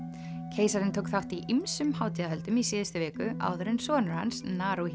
keisarinn tók þátt ýmsum hátíðahöldum í síðustu viku áður en sonur hans